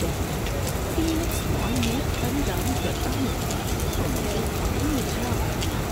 جب میں Phoenix mall میں خریداری کرتا ہوں تو مجھے ہمیشہ